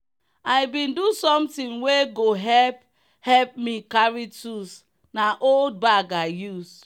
i bin do something wey go help help me carry tools na old bag i use.